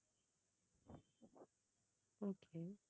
okay